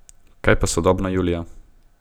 Kaj pa sodobna Julija?